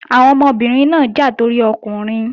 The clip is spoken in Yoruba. Àwọn ọmọbìnrin náà ń jà torí ọkùnrin